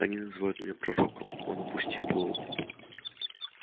они называют меня пророком он опустил голову